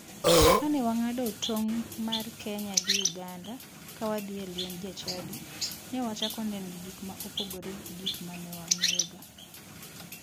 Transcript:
Kane wang'ado tong' mar kenya gi uganda ka wadhie liend jachadi, ne wachako neno gik ma opogore gi gik mane wang'eyoga.